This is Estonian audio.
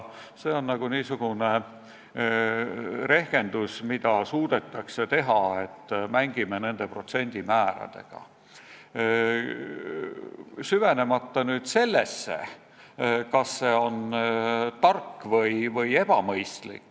See on niisugune rehkendus, mida suudetakse teha, et mängime protsendimääradega, süvenemata sellesse, kas see on tark või ebamõistlik.